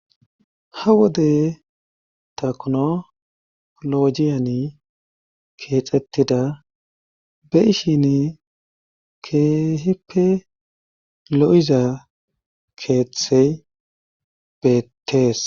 Ha wode taknolojiyani keexettida be ishin keehippe lo7iza keeththey beettees.